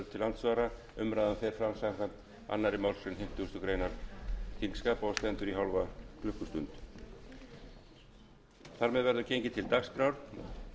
andsvara umræðan fer fram samkvæmt annarri málsgrein fimmtugustu grein þingskapa og stendur í hálfa klukkustund